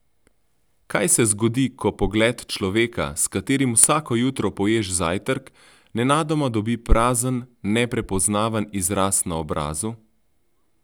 Kaj se zgodi, ko pogled človeka, s katerim vsako jutro poješ zajtrk, nenadoma dobi prazen, neprepoznaven izraz na obrazu?